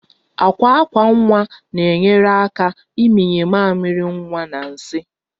Akwa akwa nwa na-enyere aka ịmịnye mamịrị nwa na nsị